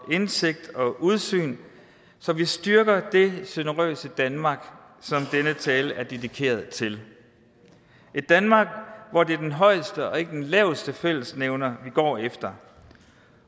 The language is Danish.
indsigt og udsyn så vi styrker det generøse danmark som denne tale er dedikeret til et danmark hvor det er den højeste og ikke den laveste fællesnævner vi går efter